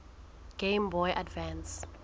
game boy advance